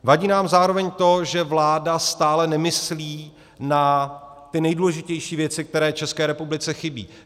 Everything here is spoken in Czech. Vadí nám zároveň to, že vláda stále nemyslí na ty nejdůležitější věci, které České republice chybí.